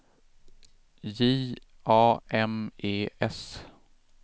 J A M E S